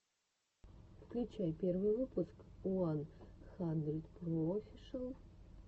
включай первый выпуск уан хандридпроофишиал